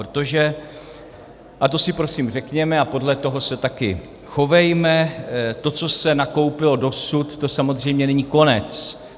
Protože, a to si prosím řekněme a podle toho se taky chovejme, to, co se nakoupilo dosud, to samozřejmě není konec.